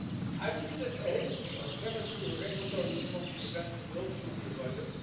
working on this. I believe that a hasty or premature regulatory response to events in the Gulf should